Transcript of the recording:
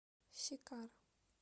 сикар